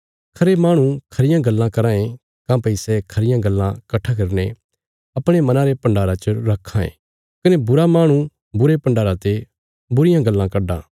खरे माहणु खरियां गल्लां कराँ ये काँह्भई सै खरियां गल्लां कट्ठा करीने अपणे मना रे भण्डारा च रक्खां ये कने बुरा माहणु बुरे भण्डारा ते बुरियां गल्लां कड्डां